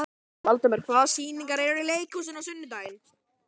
Valdimar, hvaða sýningar eru í leikhúsinu á sunnudaginn?